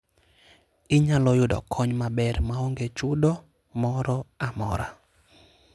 Inyalo yudo kony maber maonge chudo moro amora.